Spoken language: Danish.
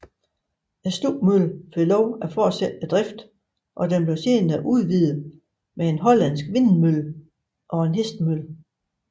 Stubmøllen fik lov at fortsætte driften og den blev senere udvidet med en hollandsk vindmølle og en hestemølle